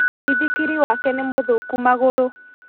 Mũithikiri wake nĩ mũthũku magũrũ